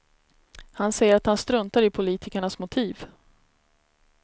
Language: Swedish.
Han säger att han struntar i politikernas motiv.